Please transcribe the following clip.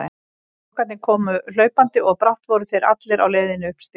Strákarnir komu hlaupandi og brátt voru þeir allir á leiðinni upp stigann.